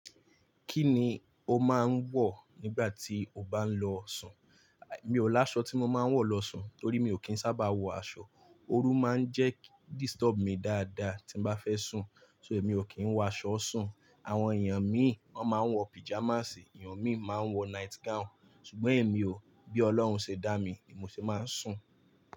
Kí ni o máa ń wọ̀ nígbà tí o bá ń lọ sùn? Èmi ò láṣọ tí mo máa ń wọ̀ lọ sùn, torí mi ò kí ń sábà wọ̀ aṣọ. Ooru máa ń jẹ́ disturb mi dáadáa tí n bá fẹ́ sùn, so èmi ò kí ń wọ̀ aṣọ sùn. Àwọn èèyàn míì wọ́n máa ń wọ píjamàsì, èèyàn míì máa ń wọ night gown, ṣùgbọ́n èmi ò. Bí olọ́run ṣe dá mi, ni mo ṣe máa n sùn.